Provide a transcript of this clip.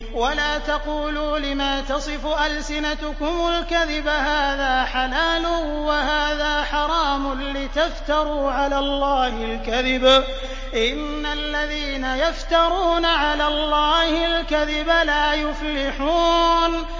وَلَا تَقُولُوا لِمَا تَصِفُ أَلْسِنَتُكُمُ الْكَذِبَ هَٰذَا حَلَالٌ وَهَٰذَا حَرَامٌ لِّتَفْتَرُوا عَلَى اللَّهِ الْكَذِبَ ۚ إِنَّ الَّذِينَ يَفْتَرُونَ عَلَى اللَّهِ الْكَذِبَ لَا يُفْلِحُونَ